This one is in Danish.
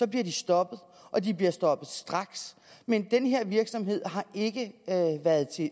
bliver de stoppet og de bliver stoppet straks men den her virksomhed har ikke været til